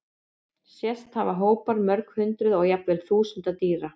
Sést hafa hópar mörg hundruð og jafnvel þúsunda dýra.